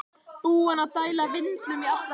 Búinn að dæla vindlum í allar áttir!